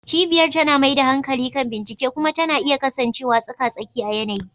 Cibiyar tana mai da hankali kan bincike kuma tana iya kasancewa tsaka-tsaki a yanayi.